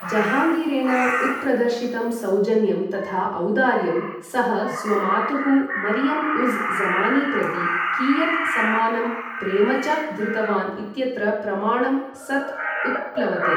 जहाङ्गीरेण उत्प्रदर्शितं सौजन्यं तथा औदार्यं, सः स्वमातुः मरियम् उज़् ज़मानी प्रति कियत् सम्मानं प्रेम च धृतवान् इत्यत्र प्रमाणं सत् उत्प्लवते।